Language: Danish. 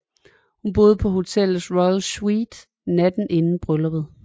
Hun boede på hotellets Royal Suite natten inden brylluppet